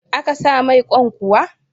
A ka sa mai Kwan kuwa?